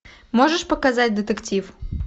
можешь показать детектив